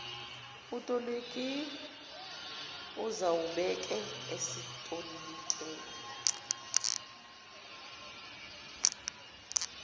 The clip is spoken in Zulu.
utoliki uzawubeke esetolikela